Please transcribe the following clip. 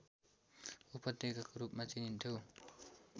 उपत्यकाको रूपमा चिनिन्थ्यो